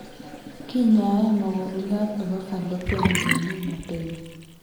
Kinyai mokongiot nebo fallopian ngeni mapema